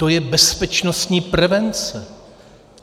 To je bezpečnostní prevence.